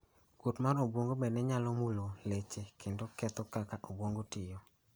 Kuot mar obwongo bende nyalo mulo leche kendo ketho kaka obwongo tiyo.